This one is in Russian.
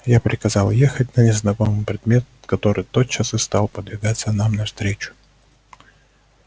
я приказал ехать на незнакомый предмет который тотчас и стал подвигаться нам навстречу